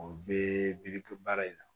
O bɛɛ bi to baara in na